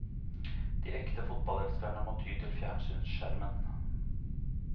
De ekte fotballelskerne må ty til fjernsynsskjermen.